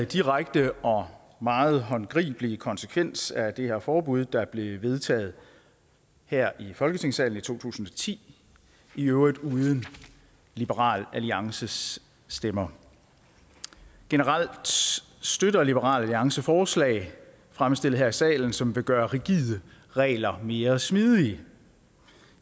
direkte og meget håndgribelige konsekvens af det her forbud der blev vedtaget her i folketingssalen i to tusind og ti i øvrigt uden liberal alliances stemmer generelt støtter liberal alliance forslag fremsat her i salen som vil gøre rigide regler mere smidige